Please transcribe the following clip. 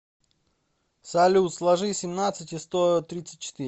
салют сложи семнадцать и сто тридцать четыре